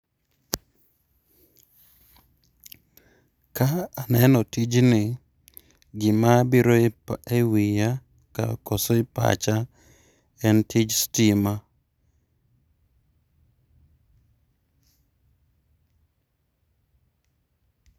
ka aneno tijni, gima bire e pa e wiya ka koso e pacha en tij stima